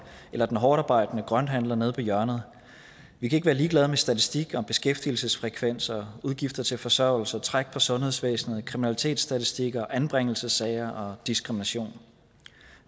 eller den hårdtarbejdende grønthandler nede på hjørnet vi kan ikke være ligeglad med statistikker over beskæftigelsesfrekvens udgifter til forsørgelse træk på sundhedsvæsenet kriminalitetsstatistikker anbringelsessager og diskrimination